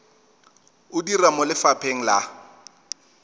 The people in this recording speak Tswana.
o dira mo lefapheng la